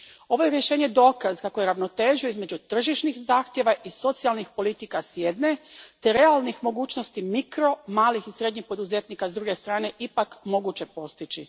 Ovo je rješenje dokaz kako je ravnotežu između tržišnih zahtjeva i socijalnih politika, s jedne, te realnih mogućnosti mikro, malih i srednjih poduzetnika, s druge strane, ipak moguće postići.